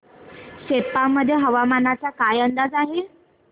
सेप्पा मध्ये हवामानाचा काय अंदाज आहे